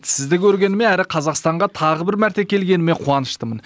сізді көргеніме әрі қазақстанға тағы бір мәрте келгеніме қуаныштымын